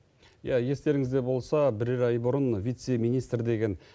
иә естеріңізде болса бірер ай бұрын вице министр деген